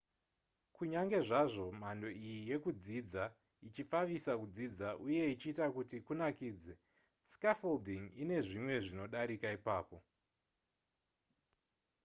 kunyange zvazvo mhando iyi yekudzidza ichipfavisa kudzidza uye ichiita kuti kunakidze scaffolding ine zvimwe zvinodarika ipapo